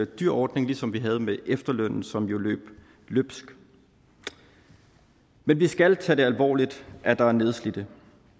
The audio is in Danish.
dyr ordning ligesom vi havde det med efterlønnen som jo løb løbsk vi vi skal tage det alvorligt at der er nedslidte